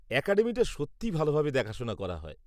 অ্যাকাডেমিটা সত্যিই ভালভাবে দেখাশোনা করা হয়।